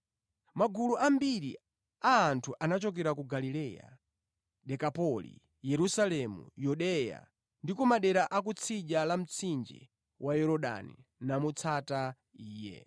Magulu ambiri a anthu anachokera ku Galileya, Dekapoli, Yerusalemu, Yudeya ndi ku madera a kutsidya la mtsinje wa Yorodani namutsata Iye.